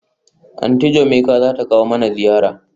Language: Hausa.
Aunty Jumoke zata kawo mana ziyara?